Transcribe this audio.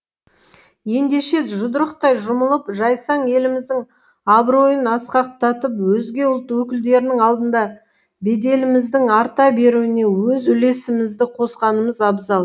ендеше жұдырықтай жұмылып жайсаң еліміздің абыройын асқақтатып өзге ұлт өкілдерінің алдында беделіміздің арта беруіне өз үлесімізді қосқанымыз абзал